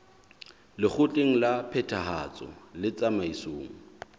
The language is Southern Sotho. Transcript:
lekgotleng la phethahatso le tsamaisong